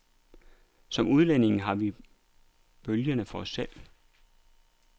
Som udlændinge har vi bølgerne for os selv.